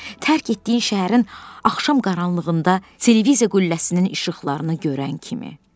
Tərk etdiyin şəhərin axşam qaranlığında televiziya qülləsinin işıqlarını görən kimi.